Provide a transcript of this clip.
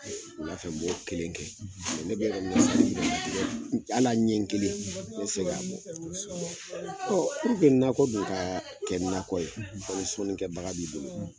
Wulafɛ n m'o kɛ ne bɛ yɔrɔ min na sisan hali a ɲɛ kelen n t'ɛ fɛ ka a bɔ, kosɛbɛ, nakɔ dun ka kɛ nakɔ ye fɔ ni sɔnni kɛbaa b'i bolo